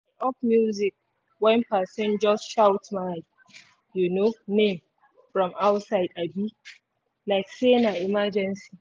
i off music when person just shout my um name from outside um like say na emergency